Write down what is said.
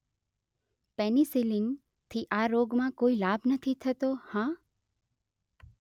penicillin થી આ રોગ માં કોઈ લાભ નથી થતો હા